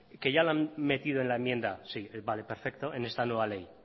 que ya lo han metido en la enmienda vale perfecto en esta nueva ley